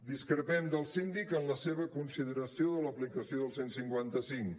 discrepem del síndic en la seva consideració de l’aplicació del cent i cinquanta cinc